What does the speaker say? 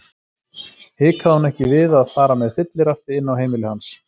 Hikaði hún ekki við að fara með fyllirafti inn á heimili hans?